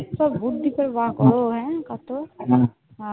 কত বুদ্ধি করে বার করে কত উম কত